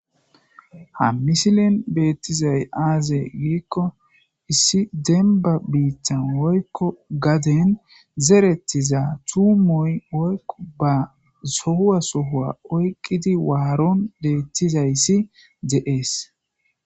ha misilen beettizay aaze giikko issi demba biittan woykko gaden zerettiza tuumoy woykko ba sohuwa sohua oyqqidi waaron deettizayssi de7ees